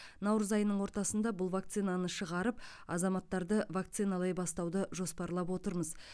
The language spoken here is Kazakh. наурыз айының ортасында бұл вакцинаны шығарып азаматтарды вакциналай бастауды жоспарлап отырмыз